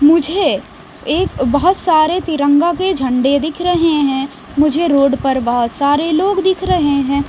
मुझे एक बहोत सारे तिरंगा के झंडे दिख रहे हैं मुझे रोड पर बहोत सारे लोग दिख रहे हैं।